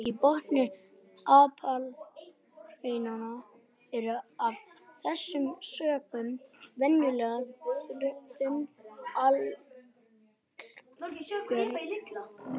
Í botni apalhrauna eru af þessum sökum venjulega þunn gjalllög.